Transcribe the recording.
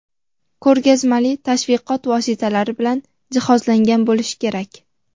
ko‘rgazmali tashviqot vositalari bilan jihozlangan bo‘lishi kerak.